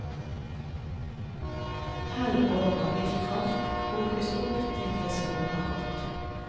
Hell over viltkraft, kokes opp til det skummer godt.